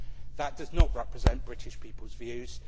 That does not represent British people's views